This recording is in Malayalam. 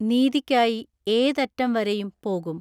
നീതിക്കായി ഏതറ്റം വരെയും പോകും.